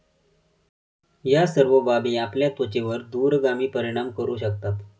या सर्व बाबी आपल्या त्वचेवर दूरगामी परिणाम करू शकतात.